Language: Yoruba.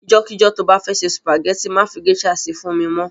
Ijọ́ kíjọ́ to bá fẹ́ se sùpàgẹ́tì má fi géṣà si fún mi mọ́.